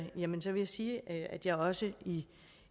vil jeg sige at jeg også i